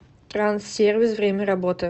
транссервис время работы